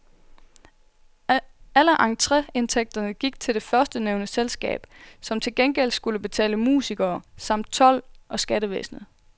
Alle entreindtægterne gik til det førstnævnte selskab, som til gengæld skulle betale musikere, samt told og skattevæsenet.